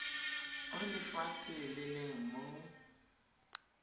o lefatshe le leng mo